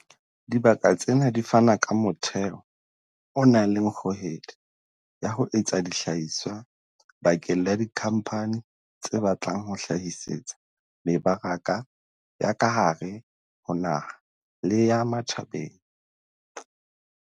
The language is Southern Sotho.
Dibaka tsena di fana ka motheo o nang le kgohedi ya ho etsa dihlahiswa bakeng la dikhampani tse batlang ho hlahisetsa mebaraka ya ka hare ho naha le ya matjhabeng.